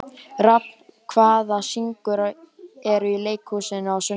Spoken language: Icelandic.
Rafn, hvaða sýningar eru í leikhúsinu á sunnudaginn?